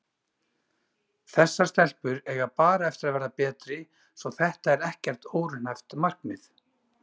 Þessar stelpur eiga bara eftir að verða betri svo þetta er ekkert óraunhæft markmið.